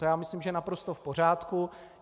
To já myslím, že je naprosto v pořádku.